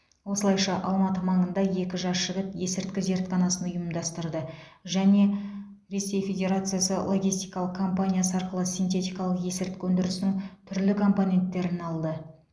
осылайша алматы маңында екі жас жігіт есірткі зертханасын ұйымдастырды және ресей федерациясы логистикалық компаниясы арқылы синтетикалық есірткі өндірісінің түрлі компоненттерін алды